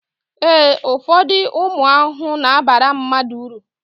ee, ụfọdụ ụmụ ahụhụ na-abara mmadụ uru